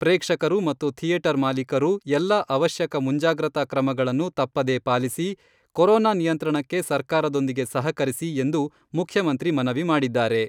ಪ್ರೇಕ್ಷಕರು ಮತ್ತು ಥಿಯೇಟರ್ ಮಾಲೀಕರು ಎಲ್ಲಾ ಅವಶ್ಯಕ ಮುಂಜಾಗ್ರತಾ ಕ್ರಮಗಳನ್ನು ತಪ್ಪದೇ ಪಾಲಿಸಿ, ಕೊರೋನಾ ನಿಯಂತ್ರಣಕ್ಕೆ ಸರ್ಕಾರದೊಂದಿಗೆ ಸಹಕರಿಸಿ ಎಂದು ಮುಖ್ಯಮಂತ್ರಿ ಮನವಿ ಮಾಡಿದ್ದಾರೆ.